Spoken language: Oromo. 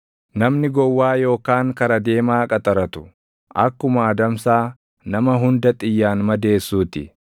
Namni gowwaa yookaan kara deemaa qaxaratu akkuma adamsaa nama hunda xiyyaan madeessuu ti.